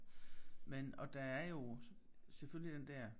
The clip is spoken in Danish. Men og der er jo selvfølgelig den der